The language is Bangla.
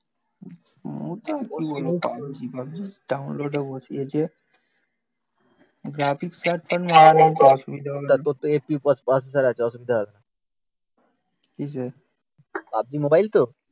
পাবজি ডাউনলোড এ বসিয়েছে গ্রাফিক্স কার্ড